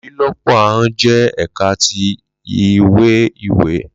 Lilọpo ahọn jẹ ẹka ti iwe-iwe